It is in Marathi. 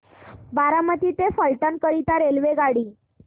बारामती ते फलटण करीता रेल्वेगाडी